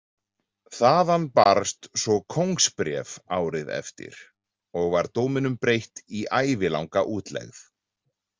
Þaðan barst svo kóngsbréf árið eftir og var dóminum breytt í ævilanga útlegð.